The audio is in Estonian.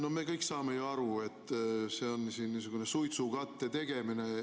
No me kõik saame ju aru, et see on siin niisugune suitsukatte tegemine.